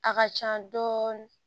A ka can dɔɔnin